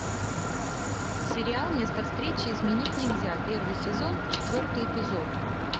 сериал место встречи изменить нельзя первый сезон четвертый эпизод